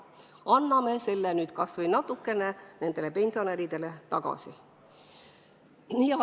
Anname sellest nüüd kas või natukene nendele pensionäridele tagasi.